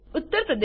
Uttar Pradesh